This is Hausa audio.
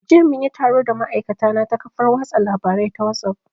Jiya mun yi taro da ma'aikatana ta kafar watsa labarai ta wasuf